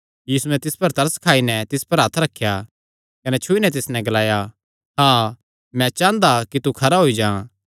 यीशुयैं तिस पर तरस खाई नैं तिस पर हत्थ रखेया कने छुई नैं तिस नैं ग्लाणा लग्गा मैं चांह़दा कि तू खरा होई जां